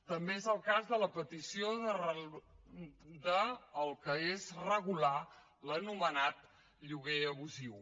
també és el cas de la petició del que és regular l’anomenat lloguer abusiu